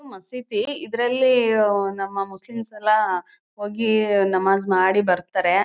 ಇದು ಮಸೀದಿ ಇದ್ರಲ್ಲಿ ನಮ್ಮ ಮುಸ್ಲಿಮ್ಸ್ ಎಲ್ಲ ಹೋಗಿ ನಮಾಸ್ ಮಾಡಿ ಬರ್ತಾರೆ.